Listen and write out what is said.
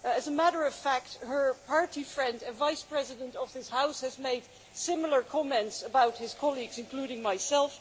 As a matter of fact, her party friend and Vice President of this House has made similar comments about his colleagues, including myself.